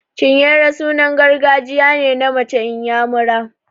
Chinyere sunan gargajiya ne na mace inyamura.